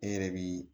E yɛrɛ bi